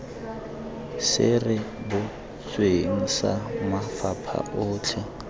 se rebotsweng sa mafapha otlhe